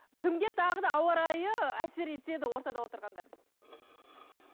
кімге тағы да ауа райы әсер етеді ортада отырғандар